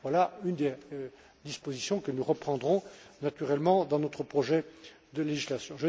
Voilà une des dispositions que nous reprendrons naturellement dans notre projet de législation.